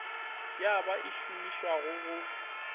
ye ba e šomišago go